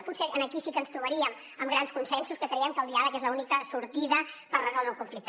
potser aquí sí que ens trobaríem amb grans consensos que creiem que el diàleg és l’única sortida per resoldre el conflicte